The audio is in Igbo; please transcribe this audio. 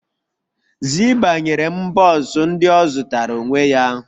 Zibah ​​nyere m buns ndị ọ zụtara onwe ya